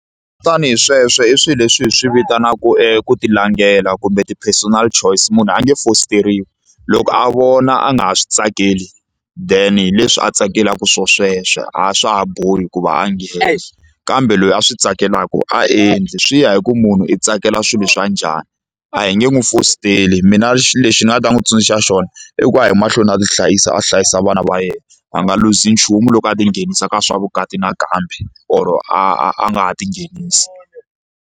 Tanihi sweswo i swilo leswi hi swi vitanaku ku ti langela kumbe ti-personal choice munhu a nge fositeriwi loko a vona a nga ha swi tsakeli then hi leswi a tsakelaka swona sweswo a swa ha bohi hikuva a nghena kambe loyi a swi tsakelaka a endli swi ya hi ku munhu i tsakela swilo swa njhani a hi nge n'wi fositeli mina xilo lexi ni nga ta n'wi tsundzuxa xona i ku a yi mahlweni a tihlayisa a hlayisa vana va yena a nga luzi nchumu loko a tinghenisa ka swa vukati nakambe or a nga ha tinghenisi.